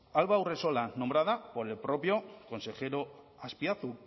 alba urresola nombrada por el propio consejero azpiazu